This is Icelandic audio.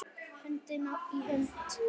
Hönd í hönd.